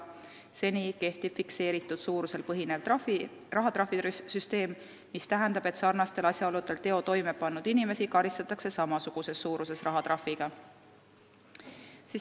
Seni on kehtinud fikseeritud suurusel põhinev rahatrahvisüsteem, mis tähendab, et sarnastel asjaoludel teo toimepannud inimesi karistatakse samasuguses suuruses rahatrahviga.